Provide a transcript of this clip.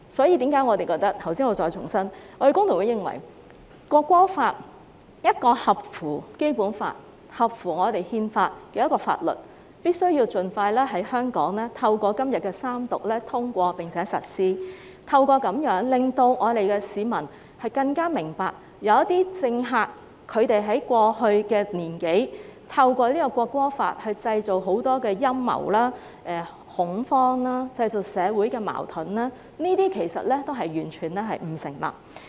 因此，我再重申，工聯會認為《條例草案》是一項符合《基本法》和憲法的法律，必須透過在今天通過三讀，盡快在香港實施，令市民更明白有些政客在過去1年多，透過《條例草案》製造很多陰謀、恐慌和社會矛盾，這些其實完全不成立。